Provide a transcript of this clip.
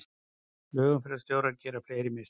Flugumferðarstjórar gera fleiri mistök